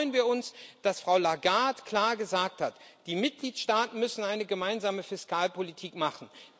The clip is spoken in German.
Deshalb freuen wir uns, dass Frau Lagarde klar gesagt hat Die Mitgliedstaaten müssen eine gemeinsame Fiskalpolitik machen.